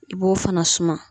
I b'o fana suma.